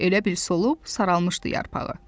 Elə bil solub saralmışdı yarpağı.